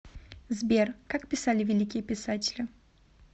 сбер как писали великие писатели